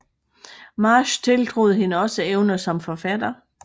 Marsh tiltroede hende også evner som forfatter